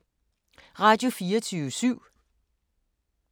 Radio24syv